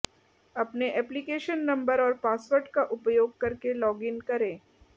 अपने application number और password का उपयोग करके लॉगिन करें